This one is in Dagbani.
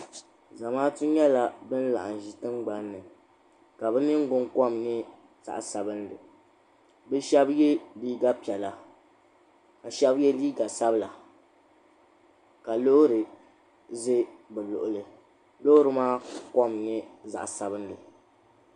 Zamaatu nyɛla ban laɣim n ʒi tingbani ka bɛ ningbinkom nyɛ zaɣa sabinli bɛ sheba ye liiga piɛla ka sheba ye liiga sabla ka loori za bɛ luɣuli loori maa kom nyɛ zaɣa sabinli